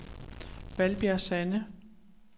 Valbjerg Sande